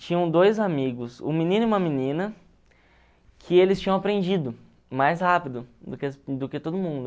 Tinham dois amigos, um menino e uma menina, que eles tinham aprendido mais rápido do que do que todo mundo.